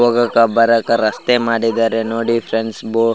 ಹೋಗಾಕ ಬರಾಕ ರಸ್ತೆ ಮಾಡಿದ್ದಾರೆ ನೋಡಿ ಫ್ರೆಂಡ್ಸ್ ಬೊ --